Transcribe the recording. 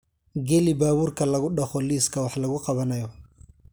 geli baabuurka lagu dhaqo liiska wax lagu qabanayo